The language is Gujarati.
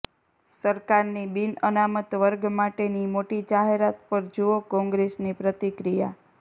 સરકારની બિનઅનામત વર્ગ માટેની મોટી જાહેરાત પર જુઓ કોંગ્રેસની પ્રતિક્રિયા